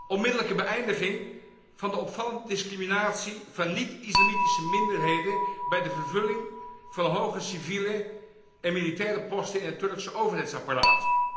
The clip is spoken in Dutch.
Onmiddellijke beëindiging van de opvallende discriminatie van niet islamitische minderheden bij de vervulling van hoge civiele en militaire posten in het Turkse overheidsapparaat.